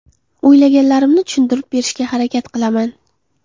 O‘ylaganlarimni tushuntirib berishga harakat qilaman.